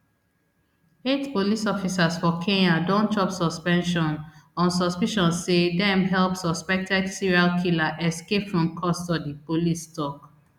eight police officers for kenya don chop suspension on suspicion say dem help suspected serial killer escape from custody police tok